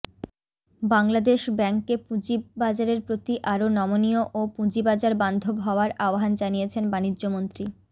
বাংলাদেশ ব্যাংককে পুঁজিবাজারের প্রতি আরো নমনীয় ও পুঁজিবাজার বান্ধব হওয়ার আহ্বান জানিয়েছেন বাণিজ্যমন্ত্রী